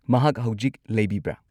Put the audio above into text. ꯃꯍꯥꯛ ꯍꯧꯖꯤꯛ ꯂꯩꯕꯤꯕ꯭ꯔꯥ?